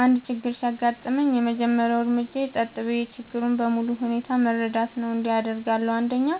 አንድ ችግር ሲያጋጥመኝ፣ የመጀመሪያው እርምጃዬ ጸጥ ብዬ ችግሩን በሙሉ ሁኔታው መረዳት ነው። እንዲህ አደርጋለሁ፦ 1.